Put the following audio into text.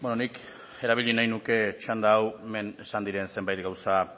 nik erabili nahi nuke txanda hau hemen esan diren zenbait gauza